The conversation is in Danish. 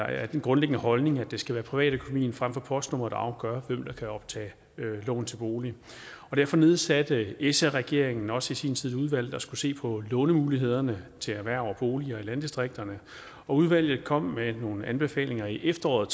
af den grundlæggende holdning at det skal være privatøkonomien frem for postnummeret der afgør hvem der kan optage lån til bolig derfor nedsatte sr regeringen også i sin tid et udvalg der skulle se på lånemulighederne til erhverv og boliger i landdistrikterne og udvalget kom med nogle anbefalinger i efteråret